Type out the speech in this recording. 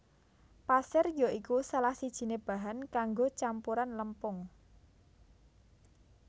Pasir ya iku salah sijiné bahan kanggo campuran lempung